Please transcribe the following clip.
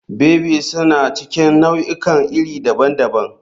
Baby suna cikin nau'ikan iri daban-daban.